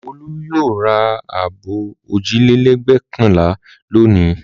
Olú yóò ra abọ́ òjìlélẹ́ẹ̀gbẹ́kànlá lónìí.